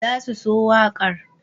they will love the song